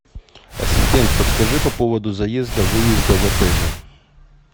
ассистент подскажи по поводу заезда выезда в отеле